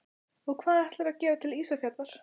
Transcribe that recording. Og hvað ætlarðu að gera til Ísafjarðar?